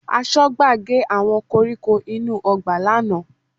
Aṣọ́gbà gé àwọn koríko inú ọgbà lánàá